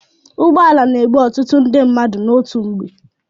Ụgbọala na-ebu ọtụtụ ndị mmadụ n'otu mgbe.